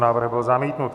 Návrh byl zamítnut.